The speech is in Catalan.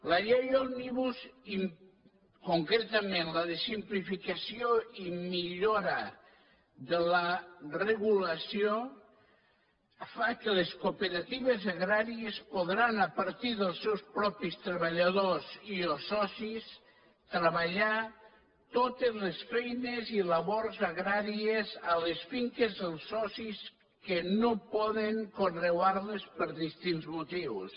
la llei òmnibus concretament la de simplificació i millora de la regulació fa que les cooperatives agràries podran a partir dels seus propis treballadors i o socis treballar totes les feines i labors agràries a les finques dels socis que no poden conrear les per distints motius